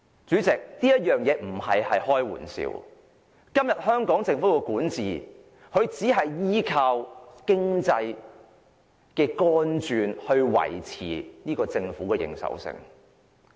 主席，我不是開玩笑，今天香港政府的管治只是依靠經濟來維持政府的認受性。